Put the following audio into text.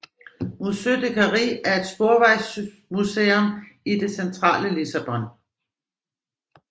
Museu da Carris er et sporvejsmuseum i det centrale Lissabon